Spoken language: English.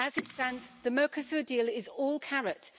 As it stands, the Mercosur deal is all carrot